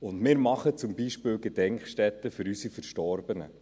Und wir machen beispielsweise Gedenkstätten für unsere Verstorbenen.